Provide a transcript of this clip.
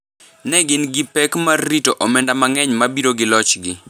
ne gin gi pek mar rito omenda mang’eny ma biro gi lochgi.